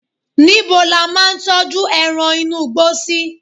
níbo la ma n tọju eran inú igbó sí